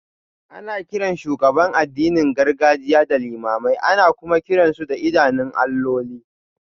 Ana kiran shugabannin addinin gargajiya limamai, ana kuma kiran su da idanun alloli.